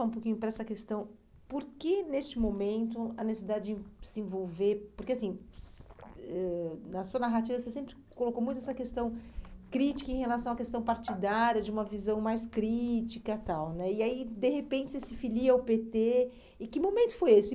um pouquinho para essa questão, por que neste momento a necessidade de se envolver, porque assim, ãh na sua narrativa você sempre colocou muito essa questão crítica em relação à questão partidária, de uma visão mais crítica e tal né, e aí de repente você se filia ao pê tê, e que momento foi esse?